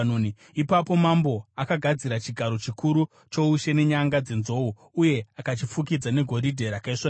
Ipapo mambo akagadzira chigaro chikuru choushe nenyanga dzenzou uye akachifukidza negoridhe rakaisvonaka.